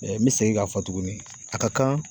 n bɛ segin k'a fɔ tuguni a ka kan